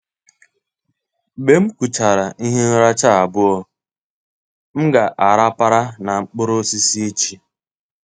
Mgbe m kuchara ihe nracha abụọ, m ga-arapara na mkpụrụ osisi echi.